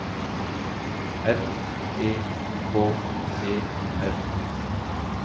R E K E R